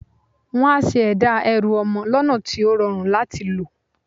Wọ́n á ṣe ẹ̀dá ẹrù ọmọ lọ́nà tí ó rọrùn láti lò.